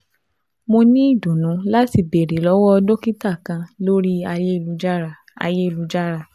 Mo ni idunnu lati beere lọwọ dokita kan lori ayelujara ayelujara